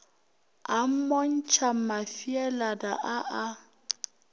a mmontšha mafeelana a a